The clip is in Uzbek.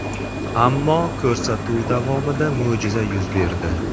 Ammo ko‘rsatuv davomida mo‘jiza yuz berdi.